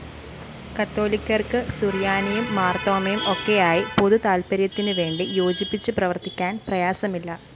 കത്തോലിക്കര്‍ക്ക് സുറിയാനിയും മാര്‍തോമയും ഒക്കെയായി പൊതുതാല്‍പ്പര്യത്തിനുവേണ്ടി യോജിച്ചുപ്രവര്‍ത്തിക്കാന്‍ പ്രയാസമില്ല